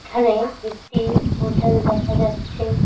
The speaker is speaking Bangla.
এখানে একটি হোটেল দেখা যাচ্ছে।